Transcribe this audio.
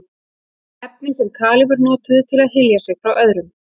efni sem kalífar notuðu til að hylja sig frá öðrum